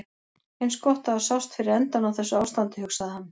Eins gott að það sást fyrir endann á þessu ástandi, hugsaði hann.